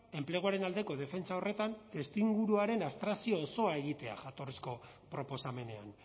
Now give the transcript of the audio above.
enpleguaren aldeko defentsa horretan testuinguruaren abstrakzio osoa egitea jatorrizko proposamenean